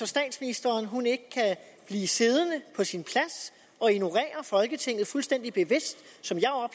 statsministeren ikke kan blive siddende på sin plads og ignorere folketinget fuldstændig bevidst som